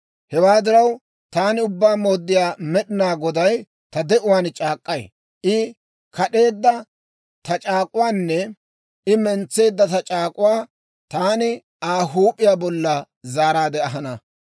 « ‹Hewaa diraw, taani Ubbaa Mooddiyaa Med'inaa Goday ta de'uwaan c'aak'k'ay; I kad'eedda ta c'aak'uwaanne I mentseedda ta c'aak'uwaa taani Aa huup'iyaa bolla zaaraadde ahana.